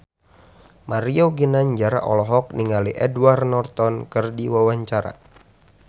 Mario Ginanjar olohok ningali Edward Norton keur diwawancara